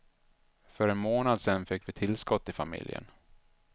För en månad sedan fick vi tillskott i familjen.